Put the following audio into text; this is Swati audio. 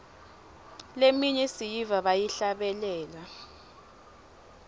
leminye siyiva bayihlabelela